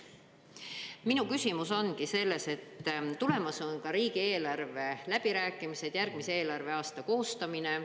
Minu küsimus ongi selles, et tulemas on ka riigieelarve läbirääkimised, järgmise eelarveaasta koostamine.